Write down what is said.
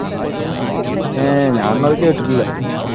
ഏർ ഞാനൊന്നും അത് കേട്ടിട്ടില്ല.